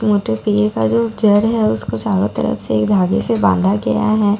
का जो चेयर है उसको चारों तरफ से एक धागे से बांधा गया है --